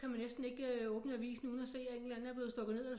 Så kan man næsten ikke åbne avisen uden at se at en eller anden er blevet stykket ned